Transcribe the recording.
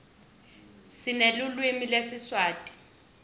sinelulwimi lesiswati